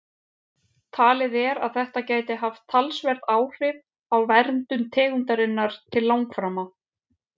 Talið er að þetta gæti haft talsverð áhrif á verndun tegundarinnar til langframa.